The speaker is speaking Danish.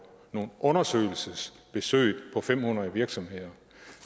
nogle undersøgelsesbesøg på fem hundrede virksomheder